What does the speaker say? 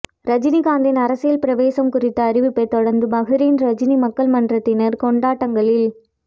ரஜினிகாந்த்தின் அரசியல் பிரவேசம் குறித்த அறிவிப்பை தொடர்ந்து பஹ்ரைன் ரஜினி மக்கள் மன்றத்தினர் கொண்டாட்டங்களில்